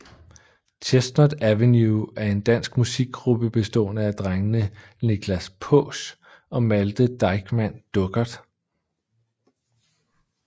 Chestnut Avenue er en dansk musikgruppe bestående af drengene Nichlas Paasch og Malthe Deichmann Duckert